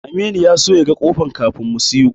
Aminu ya so ya ga ƙofar kafin mu siyo.